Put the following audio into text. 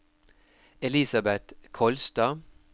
Elisabet Kolstad